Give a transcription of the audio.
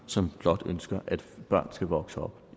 som blot ønsker at børn skal vokse op